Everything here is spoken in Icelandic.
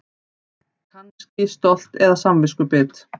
Kannski stolt eða samviskubit.